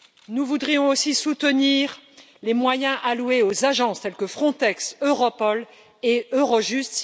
Nous voudrions aussi soutenir les moyens alloués aux agences telles que Frontex, Europol et Eurojust.